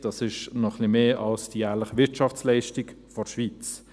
Das ist noch etwas mehr als die jährliche Wirtschaftsleistung der Schweiz.